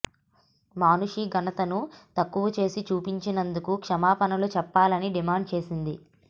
మానుషి ఘనతను తక్కువ చేసి చూపినందుకు క్షమాపణలు చెప్పాలని డిమాండ్ చేసింది